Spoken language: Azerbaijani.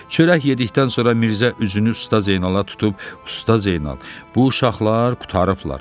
Çörək yedikdən sonra Mirzə üzünü Usta Zeynala tutub, Usta Zeynal, bu uşaqlar qurtarıblar.